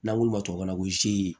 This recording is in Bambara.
N'an k'olu ma ko